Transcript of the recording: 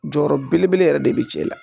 Jɔyɔrɔ belebele yɛrɛ de be cɛ la